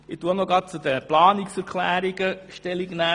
Ich nehme auch gleich zu den Planungserklärungen Stellung.